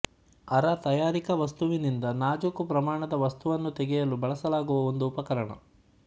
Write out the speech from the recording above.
ಅರ ತಯಾರಿಕಾ ವಸ್ತುವಿನಿಂದ ನಾಜೂಕು ಪ್ರಮಾಣದ ವಸ್ತುವನ್ನು ತೆಗೆಯಲು ಬಳಸಲಾಗುವ ಒಂದು ಉಪಕರಣ